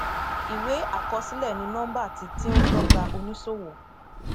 ìwé àkọsílẹ ní nọmbà tí tí ń dọgba oníṣòwò